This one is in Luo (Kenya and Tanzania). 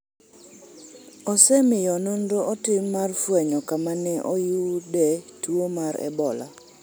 osemiyo nonro otim mar fwenyo kama ne oyude tuo mar ebola